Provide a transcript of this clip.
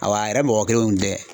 Awa a yɛrɛ mɔgɔ kelenw tɛ.